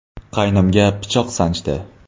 qaynimga pichoq sanchdi.